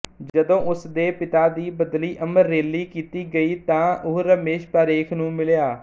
ਜਦੋਂ ਉਸਦੇ ਪਿਤਾ ਦੀ ਬਦਲੀ ਅਮਰੇਲੀ ਕੀਤੀ ਗਈ ਤਾਂ ਉਹ ਰਮੇਸ਼ ਪਾਰੇਖ ਨੂੰ ਮਿਲਿਆ